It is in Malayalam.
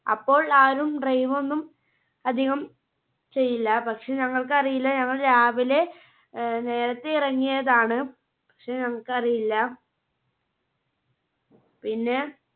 അപ്പോൾ ആരും drive ഒന്നും അധികം ചെയ്യില്ല പക്ഷേ ഞങ്ങൾക്കറിയില്ല ഞങ്ങൾ രാവിലെ ആഹ് നേരത്തെ ഇറങ്ങിയതാണ്, പക്ഷേ ഞങ്ങൾക്കറിയില്ല. പിന്നെ